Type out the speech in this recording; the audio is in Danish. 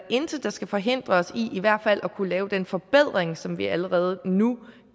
intet der skal forhindre os i i hvert fald at kunne lave den forbedring som vi allerede nu